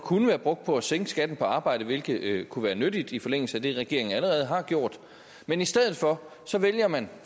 kunne være brugt på at sænke skatten på arbejde hvilket kunne være nyttigt i forlængelse af det regeringen allerede har gjort men i stedet for vælger man